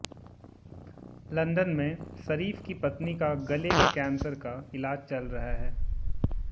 London में शरीफ की पत्नी का गले के कैंसर का इलाज चल रहा है